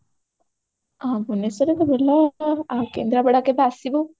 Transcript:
ହଁ ଭୁବନେଶ୍ବରରେ ତ ଭଲ ଆଉ କେନ୍ଦ୍ରାପଡା କେବେ ଆସିବୁ